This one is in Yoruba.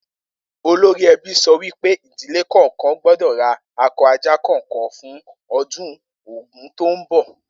Olórí e̩bí so̩ wí pé ìdílè kò̩ò̩kan gbó̩dò̩ ra ako̩ ajá kò̩ò̩kan fún o̩dún Ògún tó ń bò